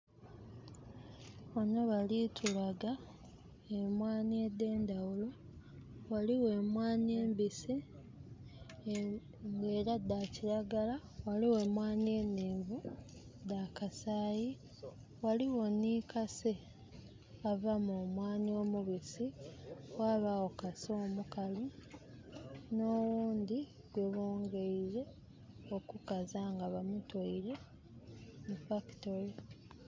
Ghanho bali tulaga emwaani edh'endhaghulo, ghaligho emwaani embisi, nga era dha kilagala. Ghaligho emwaani enhenvu, dha kasaayi. Ghaligho nhi kase ava mu mwaani omubisi, ghabaagho kase omukalu nhoghundhi gwebongeire okukaza nga bamutwoire mu fakitole.